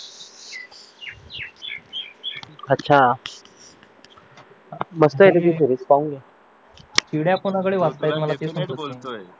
अच्छा मस्त आहे त्याची सिरीज पाहून घ्या अरे किड्या कोणाकडे वाचता कळत नाहीये